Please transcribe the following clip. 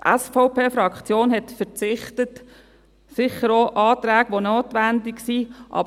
Die SVP-Fraktion hat verzichtet, sicher auch auf Anträge, die notwendig sind.